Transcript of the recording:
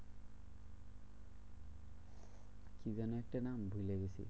কি যেন একটা নাম ভুলে গেছি?